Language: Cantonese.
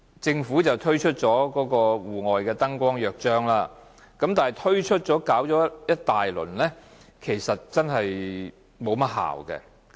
政府推出了《戶外燈光約章》，但擾攘一番後，卻不見得有何效用。